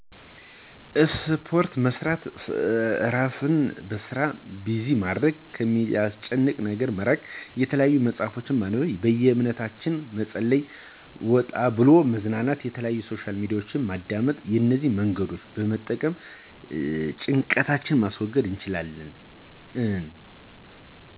እስፖርት መሥራት፣ እራሥን በሥራ ቢዚማድረግ፣ ከሚያሥጨንቀን ነገረ መራቅ፣ የተለያዩ መጽሀፍቶችን ማንበብ፣ በየእምነታችን መጸለይ፣ ወጣብሎ መዝናናት፣ የተለያዩ ሶሻል ሚዲያወችን ማዳመጥ፣ እነዚህ መንገዶችን በመጠቀም ጭንቀታችን ማስገድ እንችላለን። እን